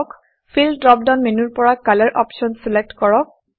feel fill drop down মেনুৰ পৰা colour option select কৰক